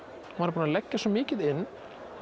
maður er búinn að leggja svo mikið inn